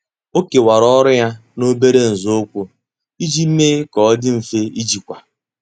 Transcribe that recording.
Ọ́ kèwàrà ọ́rụ́ ya n’óbèré nzọụkwụ iji mee kà ọ́ dị́ mfe íjíkwá.